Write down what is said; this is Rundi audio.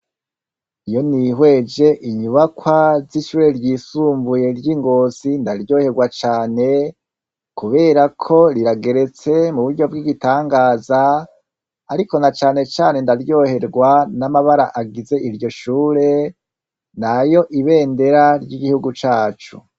Iyo nihweje inyubakwa z'ishure ryisumbuye ry'i Ngozi ndaryoherwa cane, kubera ko rirageretse mu buryo bw'igitangaza, ariko na canecane ndaryoherwa n'amabara agize iryo shure, ni ayo ibendera ry'igihugu cacu.